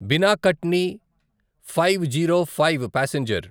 Bina Katni five zero five passenger